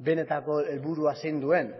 benetako helburua zein duen